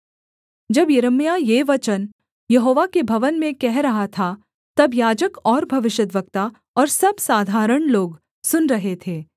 जब यिर्मयाह ये वचन यहोवा के भवन में कह रहा था तब याजक और भविष्यद्वक्ता और सब साधारण लोग सुन रहे थे